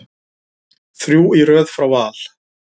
Þrjú í röð frá Val.